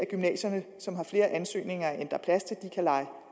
gymnasier som har flere ansøgere end der er plads til kan leje